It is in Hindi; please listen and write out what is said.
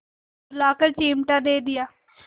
बुलाकर चिमटा दे दिया